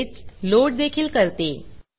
तसेच लोड देखील करते